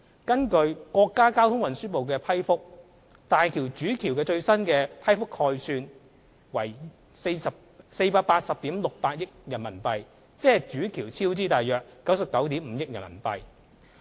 根據國家交通運輸部的批覆，大橋主橋的最新批覆概算為約480億 6,800 萬元人民幣，即主橋超支約99億 5,000 萬元人民幣。